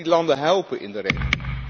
Wij moeten die landen helpen in de regio.